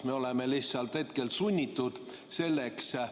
Me oleme lihtsalt hetkel sunnitud selleks.